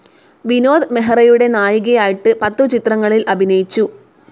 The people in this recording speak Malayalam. വിനോദ് മെഹ്റയുടെ നായികയായിട്ട് പത്തു ചിത്രങ്ങളിൽ അഭിനയിച്ചു.